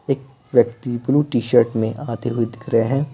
एक व्यक्ति blue T-shirt में आते हुए दिख रहे हैं।